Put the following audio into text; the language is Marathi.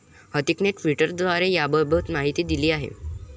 हृतिकने ट्विटरद्वारे याबाबत माहिती दिली आहे.